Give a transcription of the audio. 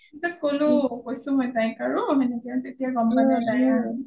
পিছত কলো কৈছোঁ মই তাইক আৰু সেনেকে তেতিয়া তাই গম পালে আৰু